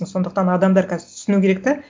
сондықтан адамдар қазір түсіну керек те